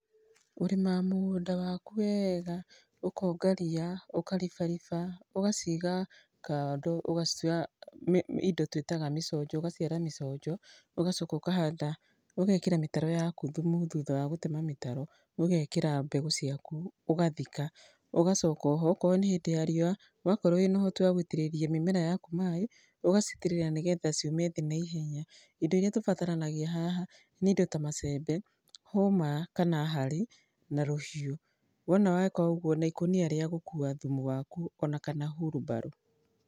Kũrima mũgũnda waku wega, ũkonga ria, ũkaribariba, ũgaciga kando, ũgacioya indo twĩtaga mĩconjo, ũgaciara mĩconjo, ũgacoka ũkahanda, ũgekĩra mĩtaro yaku thumu thutha wa gũtema mĩtaro. Ũgekĩra mbegũ ciaku, ũgathika, ũgacoka oho okorwo nĩ hĩndĩ ya riũa wakorwo wĩ na ũhoti wa gũitĩrĩria mĩmera yaku maaĩ ũgacitĩrĩria nĩ getha ciume thĩ na ihenya. Indo iria tũbataranagia haha nĩ indo ta macembe, hũma kana hari na rũhiũ. Wona weka ũguo na ikũnia rĩa gũkua thumu waku ona kana hurumbarũ.